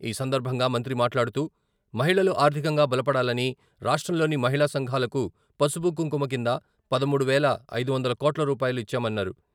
ఈ సందర్భంగా మంత్రి మాట్లాడుతూ మహిళలు ఆర్థికంగా బలపడాలని రాష్ట్రంలోని మహిళా సంఘాలకు పసుప కుంకుమ కింద పదమూడు వేల ఐదు వందల కోట్ల రూపాయలు ఇచ్చామన్నారు.